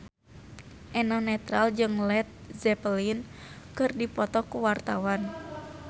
Eno Netral jeung Led Zeppelin keur dipoto ku wartawan